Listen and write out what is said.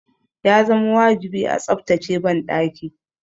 Ya zama wajibi a tsaftace banɗaki.